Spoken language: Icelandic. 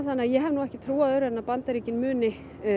þannig að ég hef ekki trú á öðru en að Bandaríkin muni